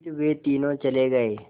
फिर वे तीनों चले गए